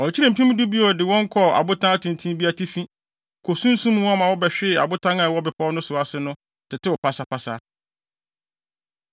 Wɔkyekyeree mpem du bio de wɔn kɔɔ abotan tenten bi atifi, kosunsum wɔn ma wɔbɛhwee abotan a ɛwɔ bepɔw no ase no so, tetew pasapasa.